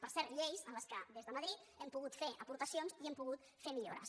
per cert lleis en les quals des de madrid hem pogut fer aportacions i hem pogut fer millores